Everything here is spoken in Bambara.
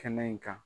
Kɛnɛ in kan